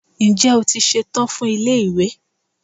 Ǹjẹ́ o ṣetán fún ilé ìwé?